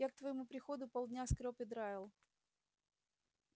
я к твоему приходу полдня скрёб и драил